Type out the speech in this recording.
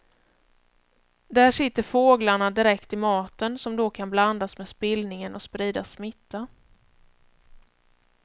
Där sitter fåglarna direkt i maten som då kan blandas med spillningen och sprida smitta.